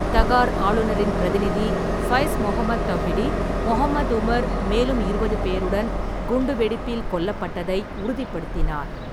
தகார் ஆளுநரின் பிரதிநிதி ஃபைஸ் முகமது தௌஹிடி, முகமது உமர் மேலும் இருபது பேருடன் குண்டுவெடிப்பில் கொல்லப்பட்டதை உறுதிப்படுத்தினார்.